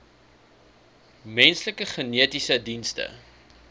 menslike genetiese dienste